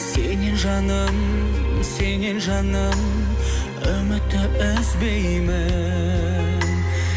сеннен жаным сеннен жаным үмітті үзбеймін